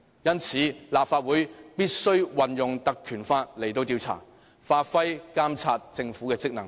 因此，立法會必須引用《條例》進行調查，發揮監察政府的職能。